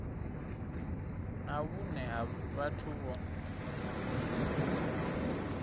na vhune ha vhathu vho